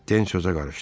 Den sözə qarışdı.